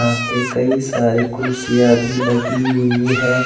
यहां पे कई सारी कुर्सियां भी लगी हुई है।